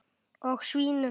Og svínum.